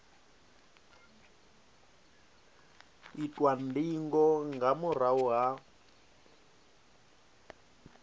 itwa ndingo nga murahu ha